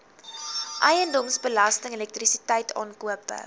eiendomsbelasting elektrisiteit aankope